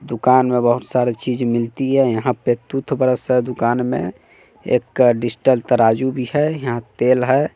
दुकान में बहोत सारे चीज मिलती है यहां पे तूथ ब्रश है दुकान में एक डिजटल तराजू भी है यहां तेल है।